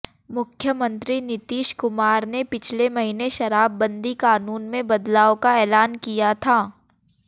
मुख्यमंत्री नीतीश कुमार ने पिछले महीने शराबबंदी कानून में बदलाव का ऐलान किया था